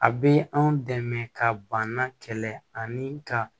A bɛ anw dɛmɛ ka bana kɛlɛ ani ka